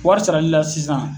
Wari saralila sisan